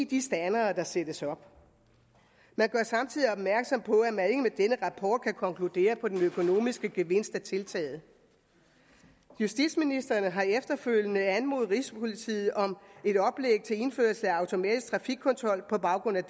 de standere der sættes op man gør samtidig opmærksom på at man ikke med denne rapport kan konkludere på den økonomiske gevinst af tiltaget justitsministeren har efterfølgende anmodet rigspolitiet om et oplæg til indførelse af automatisk frafikkontrol på baggrund af